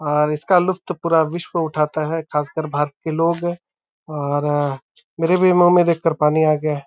और इसका लुफ्त पूरा विश्व उठता है। खासकर भारत के लोग और मेरे भी मुँह में देखकर पानी आ गया है।